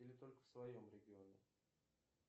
или только в своем регионе